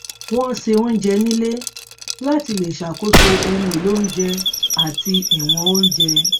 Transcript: wọn ṣe oúnjẹ nílé láti lè ṣàkóso ohun èlò oúnjẹ àti ìwọn oúnjẹ